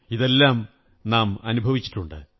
ഇതെല്ലാം നാം അനുഭവിച്ചിട്ടുണ്ട്